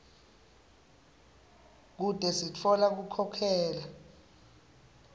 kute sitfola kukhokhela